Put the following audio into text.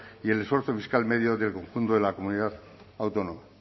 y el esfuerzo fiscal medio en el conjunto de la comunidad autónoma